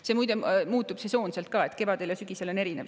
See, muide, muutub sesoonselt ka, kevadel ja sügisel on see erinev.